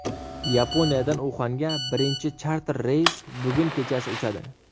Yaponiyadan Uxanga birinchi charter reys bugun kechasi uchadi.